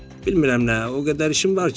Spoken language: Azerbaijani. bilmirəm nə, o qədər işim var ki.